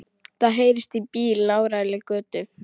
Það heyrist í bíl í nálægri götu.